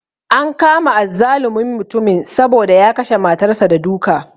An kama azzalumin mutumin saboda ya kashe matar sa da duka